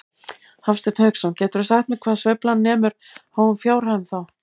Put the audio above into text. Hafsteinn Hauksson: Geturðu sagt mér hvað sveiflan nemur háum fjárhæðum þá?